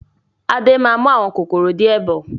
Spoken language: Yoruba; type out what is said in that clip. Adé máa mú àwọn kòkòrò di ẹ bọ̀